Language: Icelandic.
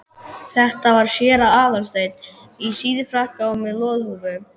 Þetta var séra Aðal steinn, í síðfrakka og með loðhúfu.